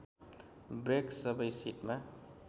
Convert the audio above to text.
brake सबै सिटमा